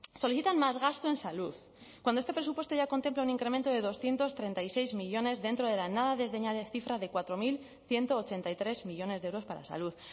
solicitan más gasto en salud cuando este presupuesto ya contempla un incremento de doscientos treinta y seis millónes dentro de la nada desdeñable cifra de cuatro mil ciento ochenta y tres millónes de euros para salud